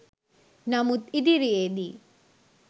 නමුත් ඉදිරියේදී